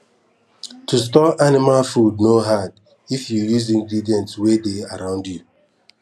to store anima food no hard if you use ingredient wey dey around you